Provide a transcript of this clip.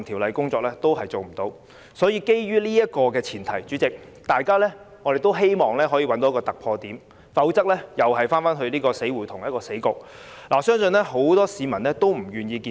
所以，主席，基於上述前提，大家也希望可以找到一個突破點，否則只會是一個死局，我相信很多市民也不願意看到。